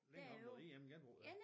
Længere op mod IM-genbrug ja